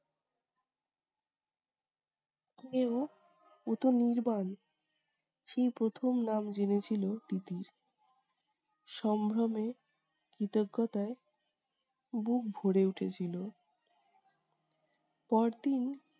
কে ও! ও তো নির্বাণ। সেই প্রথম নাম জেনেছিল তিতির। সম্ভ্রমে কৃতজ্ঞতায় বুক ভোরে উঠেছিল। পর দিন